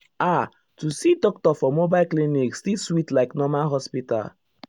ah to see doctor for mobile clinic still sweet like normal hospital.